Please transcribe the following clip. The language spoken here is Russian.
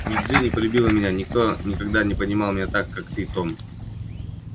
и джинни полюбила меня никто никогда не понимал меня так как ты том